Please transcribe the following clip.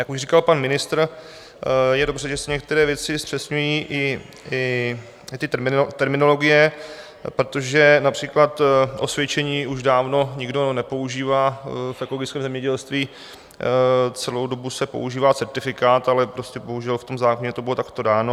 Jak už říkal pan ministr, je dobře, že se některé věci zpřesňují, i ty terminologie, protože například osvědčení už dávno nikdo nepoužívá v ekologickém zemědělství, celou dobu se používá certifikát, ale prostě bohužel v tom zákoně to bylo takto dáno.